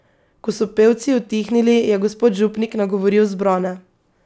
Ko so pevci utihnili, je gospod župnik nagovoril zbrane.